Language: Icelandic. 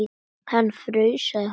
Hann fraus, sagði hún.